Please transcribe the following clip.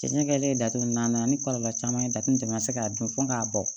Cɛncɛn kɛlen datugu n'an nana ni kɔlɔlɔ caman ye taatini ma se k'a dun fɔ k'a bɔ